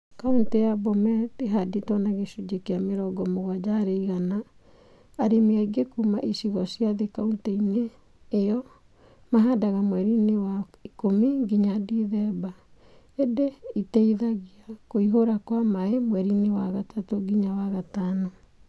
Kauntĩ ya Bomet, ĩhandĩtwo na gĩcunjĩ kĩa mĩrongo mũgwaja harĩ igana. Arĩmi aingĩ kuma icigo cia thĩ Kauntĩ-inĩ ĩyo, mahadaga mweri-inĩ wa ikumi nginya Dithemba. Indĩ iteithagia kuihura kwa mai mweri-inĩ wa gatatũ nginya wa gatano.